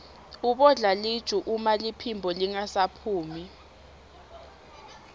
ubodla luju uma liphimbo lingasaphumi